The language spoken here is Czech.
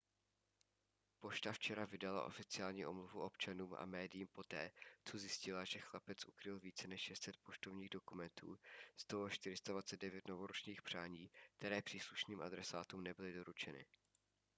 pošta včera vydala oficiální omluvu občanům a médiím poté co zjistila že chlapec ukryl více než 600 poštovních dokumentů z toho 429 novoročních přání které příslušným adresátům nebyly doručeny